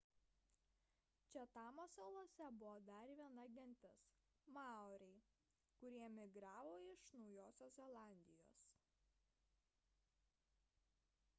čatamo salose buvo dar viena gentis maoriai kurie migravo iš naujosios zelandijos